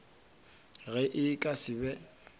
ge e ka se be